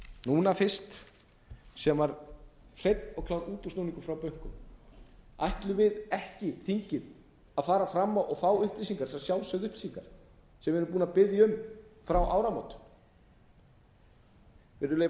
núna fyrst sem var hreinn og klár útúrsnúningur frá bönkunum ætlum við ekki þingið að fara fram á og fá upplýsingar þessar sjálfsögðu upplýsingar sem við erum búin að biðja um frá áramótum virðulegi